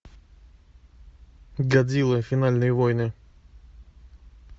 годзилла финальные войны